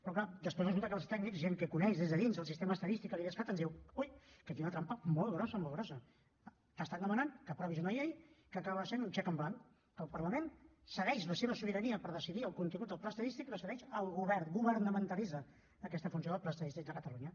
però clar després resulta que els tècnics gent que coneix des de dins el sistema estadístic de l’idescat ens diu ui que aquí hi ha una trampa molt grossa molt grossa t’estan demanant que aprovis una llei que acaba sent un xec en blanc que el parlament cedeix la seva sobirania per decidir el contingut del pla estadístic la cedeix al govern governamentalitza aquesta funció del pla estadístic de catalunya